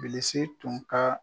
Bilisi tun ka